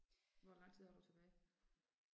Hvor lang tid har du tilbage?